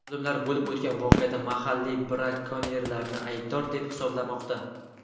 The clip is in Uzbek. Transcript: Olimlar bo‘lib o‘tgan voqeada mahalliy brakonyerlarni aybdor deb hisoblamoqda.